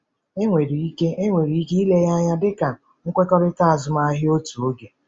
Enwere ike Enwere ike ile ya anya dị ka nkwekọrịta azụmahịa otu oge.